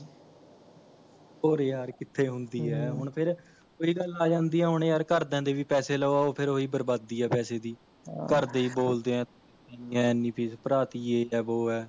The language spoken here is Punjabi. ਹੋਰ ਯਾਰ ਕਿੱਥੇ ਹੁੰਦੀ ਐ ਹਮਮ ਹੁਣ ਫ਼ੇਰ ਓਹੀ ਗੱਲ ਆਂ ਜਾਂਦੀ ਹੈ ਹੁਣ ਯਾਰ ਘਰਦਿਆ ਦੇ ਵੀ ਪੈਸੇ ਲਵਾਉ ਫ਼ੇਰ ਓਹੀ ਬਰਬਾਦੀ ਹੈ ਪੈਸੇ ਦੀ ਆਹੋ ਘਰਦੇ ਵੀ ਬੋਲਦੇ ਹੈ ਏਨੀ ਇੰਨੀ fees ਭਰਾਤੀ ਯੇ ਹੈ ਵੋ ਹੈ